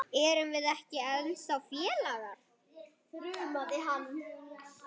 Erum við ekki ennþá félagar?